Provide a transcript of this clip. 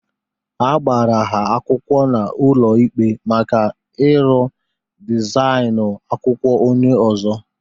A gbara ha akwụkwọ n'ụlọ ikpe maka ịrụ dịzainu akwụkwọ onye ozo